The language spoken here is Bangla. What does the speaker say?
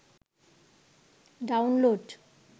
ডাউনলোড